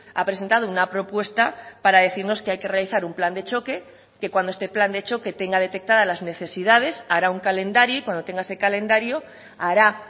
ha presentado una propuesta para decirnos que hay que realizar un plan de choque que cuando este plan de choque tenga detectada las necesidades hará un calendario y cuando tenga ese calendario hará